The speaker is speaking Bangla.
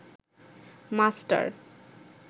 মাস্টার